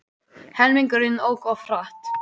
Helmingurinn ók of hratt